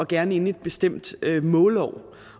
gerne inden et bestemt målår